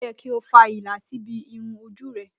Ó yẹ kí o fa ìlà síbi irun ojú rẹ.